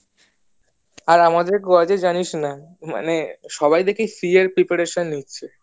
আর আমাদের college এ জানিস না মানে সবাই দেখি এর preparation নিচ্ছে